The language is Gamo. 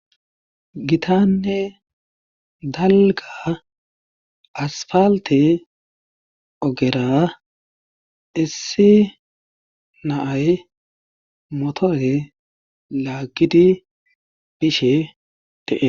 gitanne dalga asfaalte ogera issi naay motore laaggidi bishe dees